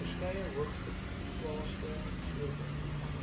verskeie hoogeplaasde sprekers